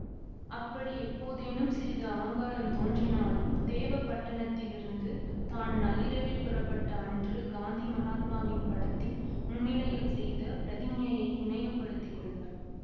அப்படி எப்போதேனும் சிறிது ஆங்காரம் தோன்றினாலும் தேவபட்டணத்திலிருந்து தான் நள்ளிரவில் புறப்பட்ட அன்று காந்தி மகாத்மாவின் படத்தின் முன்னிலையில் செய்த பிரதிக்ஞையை நினைவுபடுத்திக் கொள்வாள்